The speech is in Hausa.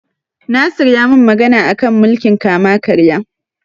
Nasir ya min magana a kan mulkin kama-karya.